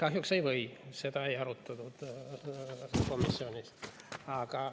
Kahjuks ei või, seda ei arutatud komisjonis.